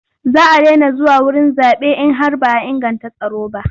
Za a daina zuwa wurin zaɓe in har ba a inganta tsaro ba.